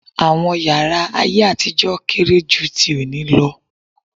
Àwọn yàrá ayé àtijọ́ kéré jú tí òní lọ.